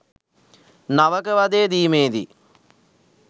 නවක වදය දීමේදී